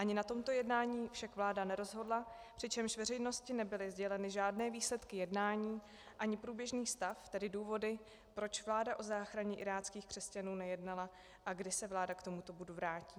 Ani na tomto jednání však vláda nerozhodla, přičemž veřejnosti nebyly sděleny žádné výsledky jednání ani průběžný stav, tedy důvody, proč vláda o záchraně iráckých křesťanů nejednala a kdy se vláda k tomuto bodu vrátí.